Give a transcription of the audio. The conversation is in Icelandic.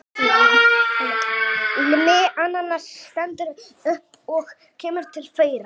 Immi ananas stendur upp og kemur til þeirra.